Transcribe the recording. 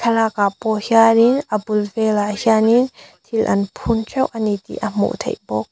thlalak ah pawh hianin a bul velah hianin thil an phun teuh ani tih a hmuh theih bawk.